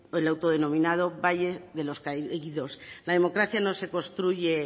el autodenominado valle de los caídos la democracia no se construye